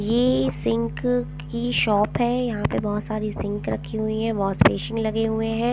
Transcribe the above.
ये सिंक की शॉप हैं यहाँ पे बहुत सारी सिंक रखी हुई हैं वॉशबेसिन लगे हुए हैं ।